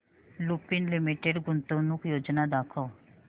Lupin limited गुंतवणूक योजना दाखव